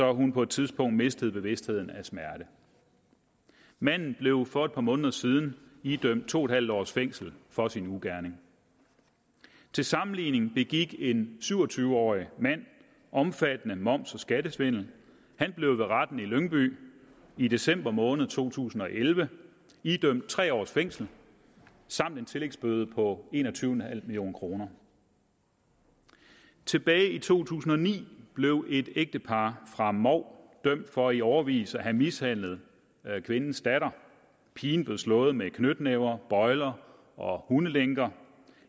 hun på et tidspunkt mistede bevidstheden af smerte manden blev for et par måneder siden idømt to en halv års fængsel for sin ugerning til sammenligning begik en syv og tyve årig mand omfattende moms og skattesvindel og blev ved retten i lyngby i december måned to tusind og elleve idømt tre års fængsel samt en tillægsbøde på en og tyve million kroner tilbage i to tusind og ni blev et ægtepar fra mou dømt for i årevis at have mishandlet kvindens datter pigen blev slået med knytnæver bøjler og hundelænker